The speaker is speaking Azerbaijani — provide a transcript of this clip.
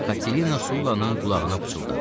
Katerina Sullanın qulağına pıçıldadı.